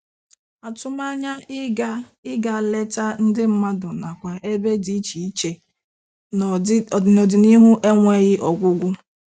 Atụmanya ịga ịga leta ndị mmadụ nakwa ebe dị iche iche n'ọdịnihu enweghị ọgwụgwụ